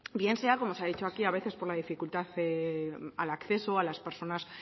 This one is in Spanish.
bien sea como se ha dicho aquí a veces por la dificultad de al acceso a las personas